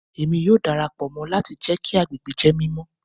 Emi yoo darapọ mọ lati jẹ ki agbegbe jẹ mimọ